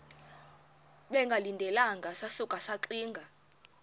bengalindelanga sasuka saxinga